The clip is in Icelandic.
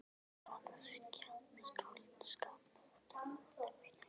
Hvaða skáldskap átti nú að finna upp á?